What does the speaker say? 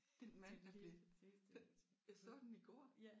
Den mand der bliver den jeg så den i går